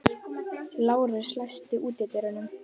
Lárus, læstu útidyrunum.